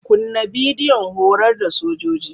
Kunna bidiyon horar da sojoji.